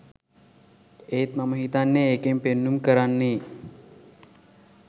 ඒත් මම හිතන්නේ ඒකෙන් පෙන්නුම් කරන්නේ